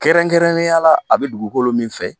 Kɛrɛnkɛrɛnnenya la a bɛ dugukolo min fɛ